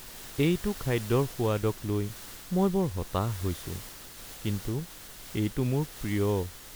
এইটো খাদ্যৰ সোৱাদক লৈ মই বৰ হতাশ হৈছো কিন্তু এইটো মোৰ প্ৰিয়।